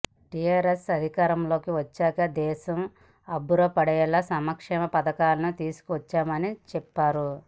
TRS అధికారంలోకి వచ్చాక దేశం అబ్బుర పడేలా సంక్షేమ పథకాలను తీసుకొచ్చామని చెప్పారు